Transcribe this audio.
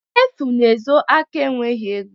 Efu na-ezo aka enweghị ego.